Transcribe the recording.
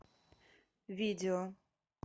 видео